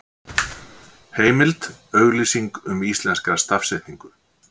Heimild: Auglýsing um íslenska stafsetningu.